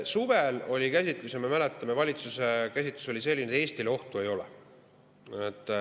Suvel oli, me mäletame, valitsuse käsitlus selline, et Eestile ohtu ei ole.